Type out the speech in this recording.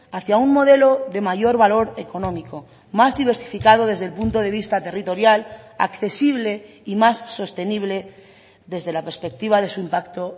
hacia un modelo de mayor valor económico más diversificado desde el punto de vista territorial accesible y más sostenible desde la perspectiva de su impacto